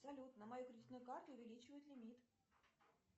салют на мою кредитную карту увеличивают лимит